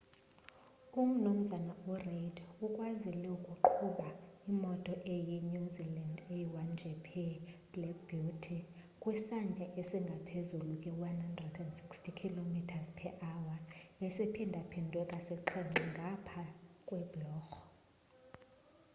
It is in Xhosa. u mnumzana u reid ukwazile ukuqhuba imoto eyi new zealand's a1gp black beauty kwisantya esingaphezu kwe 160km/h esiphindaphindwe kasixhenxe ngapha kwebhulorho